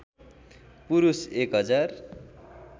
पुरुष एक हजार